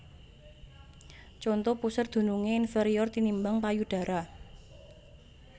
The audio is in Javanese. Conto Puser dunungé inferior tinimbang payudara